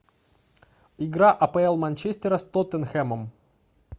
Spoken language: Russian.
игра апл манчестера с тоттенхэмом